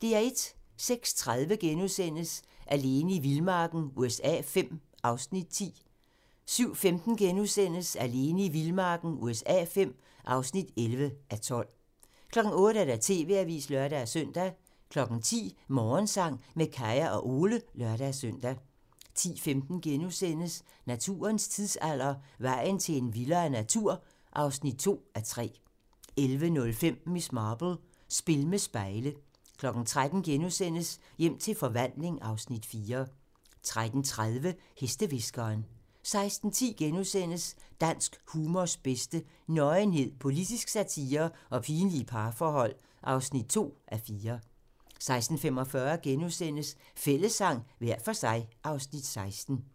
06:30: Alene i vildmarken USA V (10:12)* 07:15: Alene i vildmarken USA V (11:12)* 08:00: TV-avisen (lør-søn) 10:00: Morgensang med Kaya og Ole (lør-søn) 10:15: Naturens tidsalder - Vejen til en vildere natur (2:3)* 11:05: Miss Marple: Spil med spejle 13:00: Hjem til forvandling (Afs. 4)* 13:30: Hestehviskeren 16:10: Dansk humors bedste: Nøgenhed, politisk satire og pinlige parforhold. (2:4)* 16:45: Fællessang - hver for sig (Afs. 16)*